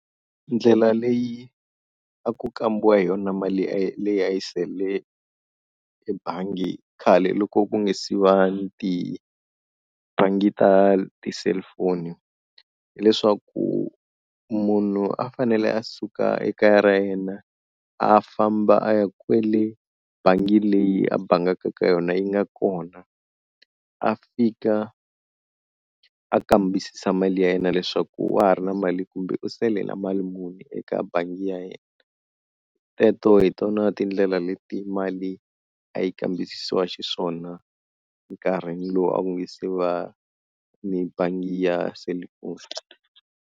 Ndlela leyi a ku kambiwa hi yona mali leyi leyi a yi sele ebangi khale loko ku nge se va ni ti bangi ta ti cellphone. Hileswaku munhu a fanele a suka ekaya ra yena a famba a ya kwele bangi leyi a bangaka ka yona yi nga kona, a fika a kambisisa mali ya yena leswaku wa ha ri na mali kumbe u saele na mali muni eka bangi ya yena. Teto hi tona tindlela leti mali a yi kambisisiwa xiswona nkarhi lowu a ku nge se va ni bangi ya selifoni.